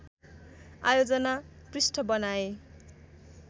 आयोजना पृष्ठ बनाएँ